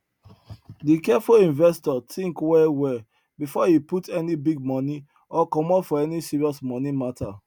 the careful investor think well well before e put any big money or commit for any serious money matter